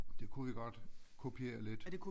Det kunne vi godt kopiere lidt